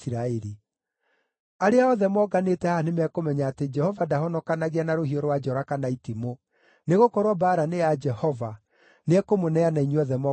Arĩa othe moonganĩte haha nĩmekũmenya atĩ Jehova ndahonokanagia na rũhiũ rwa njora kana itimũ; nĩgũkorwo mbaara nĩ ya Jehova, nĩekũmũneana inyuothe moko-inĩ maitũ.”